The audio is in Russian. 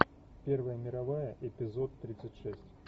первая мировая эпизод тридцать шесть